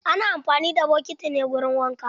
Ana amfani da bokiti ne wurin wanka.